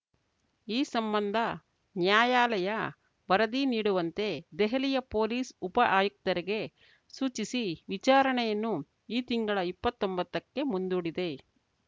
ಈ ಸಂಬಂಧ ನ್ಯಾಯಾಲಯ ವರದಿ ನೀಡುವಂತೆ ದೆಹಲಿಯ ಪೊಲೀಸ್ ಉಪಆಯುಕ್ತರಿಗೆ ಸೂಚಿಸಿ ವಿಚಾರಣೆಯನ್ನು ಈ ತಿಂಗಳ ಇಪ್ಪತ್ತೊಂಬತ್ತಕ್ಕೆ ಮುಂದೂಡಿದೆ